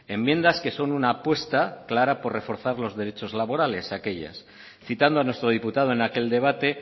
enmiendas que son una apuesta clara por reforzar los derechos laborales aquellos citando a nuestro diputado en aquel debate